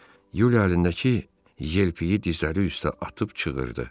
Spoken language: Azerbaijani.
Yuliya əlindəki yelpiyi dizləri üstə atıb çığırdı.